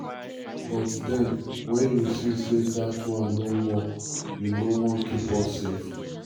"but den wen you see say dat one no work you um no wan keep us safe?